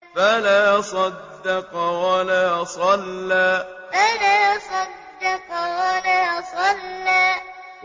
فَلَا صَدَّقَ وَلَا صَلَّىٰ فَلَا صَدَّقَ وَلَا صَلَّىٰ